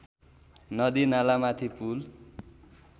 नदी नालामाथि पुल